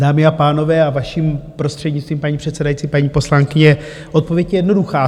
Dámy a pánové, a vaším prostřednictvím, paní předsedající, paní poslankyně, odpověď je jednoduchá.